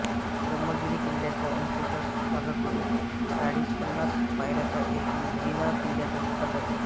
ब्रम्हगिरी किल्ल्याच्या उंचसर भागाकडून चाळीसपन्नास पायऱ्याचा एक जिना किल्ल्याच्या पोटात जातो